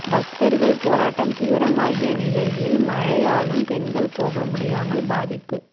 பக்தர்கள் போராட்டம் தீவிரமாகிய நிலையில் மழையாலும் பெண்கள் போக முடியாமல் பாதிப்பு